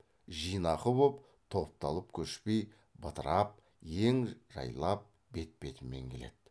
жинақы боп топталып көшпей бытырап ен жайлап бет бетімен келеді